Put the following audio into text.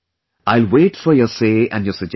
I will wait for your say and your suggestions